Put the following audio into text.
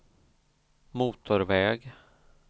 motorväg